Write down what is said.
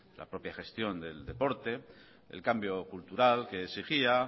la propia gestión del deporte el cambio cultural que exigía